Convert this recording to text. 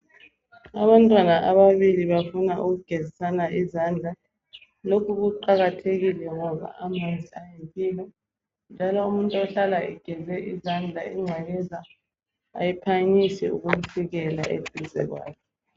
Abantwana ababili bafuna ukugezisana izandla , lokhu kuqakathekile ngoba amanzi ayimpilo , njalo umuntu ohlala egeze izandla ingcekeza ayiphangisi ukumfikela eduze kwakhe